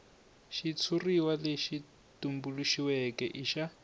xitshuriwa lexi tumbuluxiweke i xa